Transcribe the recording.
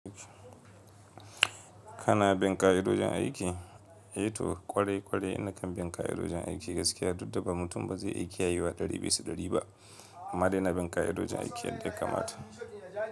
Kana bin ƙa'idojin aiki? A to ƙware-ƙware nakan bin ƙa'idojin aiki gaskiya, duk da ba mutum ba zai iya kiyayewa ɗari bisa ɗari ba amma dai ina bin ƙa'idojin aiki yadda ya kamata.